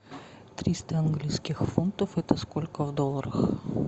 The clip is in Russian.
триста английских фунтов это сколько в долларах